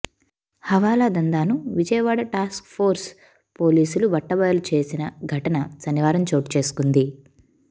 హవాలా దందాను విజయవాడ టాస్క్ఫోర్స్ పోలీసుల బట్టబయలు చేసిన ఘటన శనివారం చోటుచేసుకుంది